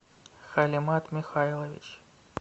халимат михайлович